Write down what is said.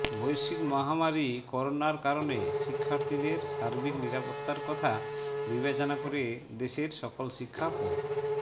বৈশ্বিক মহামারী করোনার কারণে শিক্ষার্থীদের সার্বিক নিরাপত্তার কথা বিবেচনা করে দেশের সকল শিক্ষা প